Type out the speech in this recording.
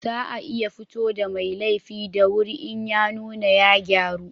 Za a iya fito da mai laifi da wuri in ya nuna ya gyaru